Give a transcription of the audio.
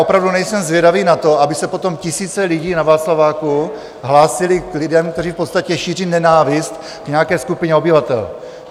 Opravdu nejsem zvědavý na to, aby se potom tisíce lidí na Václaváku hlásily k lidem, kteří v podstatě šíří nenávist k nějaké skupině obyvatel.